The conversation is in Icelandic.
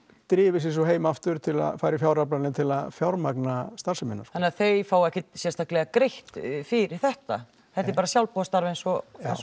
drifið sig svo heim aftur til að fara í fjáraflanir til að fjármagna starfsemina þannig að þau fá ekkert sérstaklega greitt fyrir þetta þetta er bara sjálfboðastarf eins og